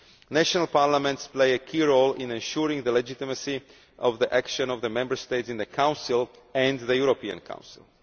National parliaments play a key role in ensuring the legitimacy of the action of the Member States in the Council and the European Council.